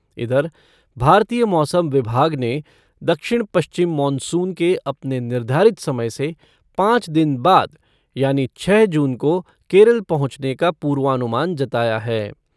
इधर, भारतीय मौसम विभाग ने दक्षिण पश्चिम मॉनसून के अपने निर्धारित समय से पाँच दिन बाद यानी छह जून को केरल पहुंचने का पूर्वानुमान जताया है।